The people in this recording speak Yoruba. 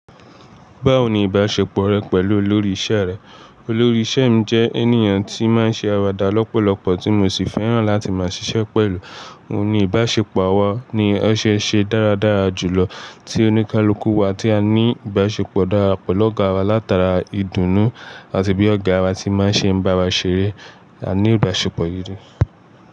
Báwo ni ìbáṣepọ̀ rẹ pẹ̀lú olórí ìṣẹ́ rẹ? Olórí ìṣẹ́ mi jẹ́ ènìyàn tí máa ń ṣe àwàdà lọ́pọ̀lọpọ̀, tí mo sì fẹ́ràn láti máa ṣiṣẹ́ pẹ̀lú. Òun ni ìbáṣepọ̀ awa ni ó ṣe é ṣe dáradára jùlọ tí oníkálukú wa tí a ní ìbáṣepọ̀ dára pẹ̀lú ọ̀gá waa látara ìdùnnú àti bí ọ̀gá waa ti máa ń ṣe ń bá wa ṣeré. A ní ìbáṣepọ̀ gidi.